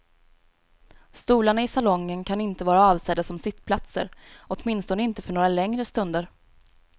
Stolarna i salongen kan inte vara avsedda som sittplatser, åtminstone inte för några längre stunder.